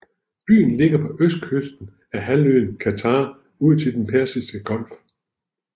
Byen ligger på østkysten af halvøen Qatar ud til Den Persiske Golf